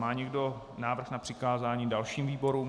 Má někdo návrh na přikázání dalšímu výboru?